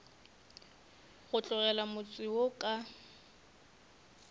go tlogela motse wo ka